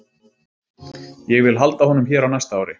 Ég vil halda honum hér á næsta ári.